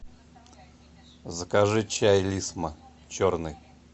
закажи чай лисма черный